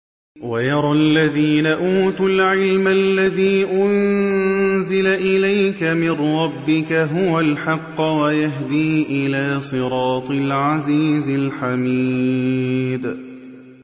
وَيَرَى الَّذِينَ أُوتُوا الْعِلْمَ الَّذِي أُنزِلَ إِلَيْكَ مِن رَّبِّكَ هُوَ الْحَقَّ وَيَهْدِي إِلَىٰ صِرَاطِ الْعَزِيزِ الْحَمِيدِ